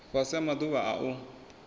fhasi ha maḓuvha a u